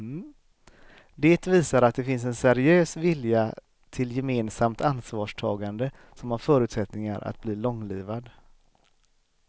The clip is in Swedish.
Det visar att det finns en seriös vilja till gemensamt ansvarstagande som har förutsättningar att bli långlivad.